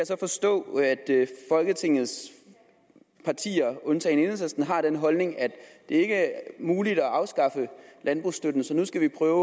så forstå at alle folketingets partier undtagen enhedslisten har den holdning at det ikke er muligt at afskaffe landbrugsstøtten så nu skal vi prøve